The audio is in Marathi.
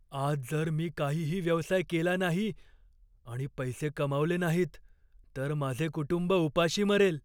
आज जर मी काहीही व्यवसाय केला नाही आणि पैसे कमावले नाहीत, तर माझे कुटुंब उपाशी मरेल.